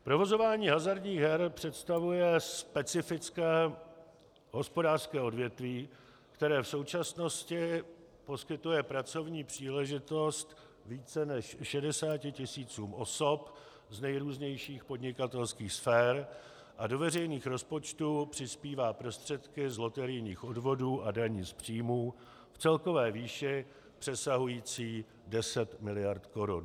Provozování hazardních her představuje specifické hospodářské odvětví, které v současnosti poskytuje pracovní příležitost více než 60 tisícům osob z nejrůznějších podnikatelských sfér a do veřejných rozpočtů přispívá prostředky z loterijních odvodů a daní z příjmů v celkové výši přesahující 10 mld. korun.